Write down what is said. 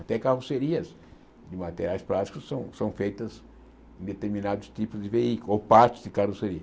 Até carrocerias de materiais plásticos são são feitas em determinados tipos de veículos ou partes de carroceria.